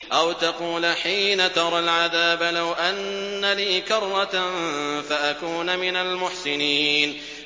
أَوْ تَقُولَ حِينَ تَرَى الْعَذَابَ لَوْ أَنَّ لِي كَرَّةً فَأَكُونَ مِنَ الْمُحْسِنِينَ